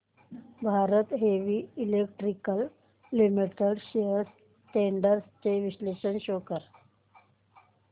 Bharat heavy electricals limited shares trends चे विश्लेषण show कर